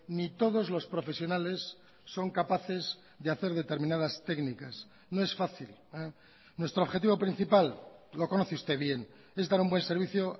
ni todos los profesionales son capaces de hacer determinadas técnicas no es fácil nuestro objetivo principal lo conoce usted bien es dar un buen servicio